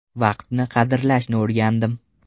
Vaqtni qadrlashni o‘rgandim.